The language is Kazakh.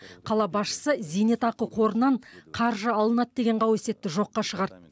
қала басшысы зейнетақы қорынан қаржы алынады деген қауесетті жоққа шығарды